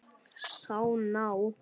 Sá ná